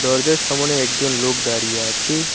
দরজার সামোনে একজন লোক দাঁড়িয়ে আছে।